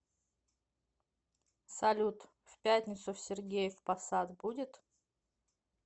салют в пятницу в сергеев по сад будет